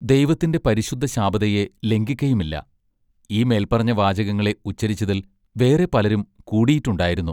ദൈവത്തിന്റെ പരിശുദ്ധ ശാബതയെ ലംഘിക്കയുമില്ല ഈ മേൽപറഞ്ഞ വാചകങ്ങളെ ഉച്ചരിച്ചതിൽ വേറെ പലരും കൂടിയിട്ടുണ്ടായിരുന്നു.